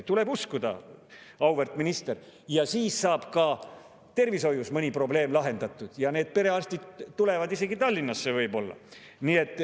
Tuleb uskuda, auväärt minister, siis saab ka tervishoius mõni probleem lahendatud ja perearstid tulevad isegi Tallinnasse, võib-olla.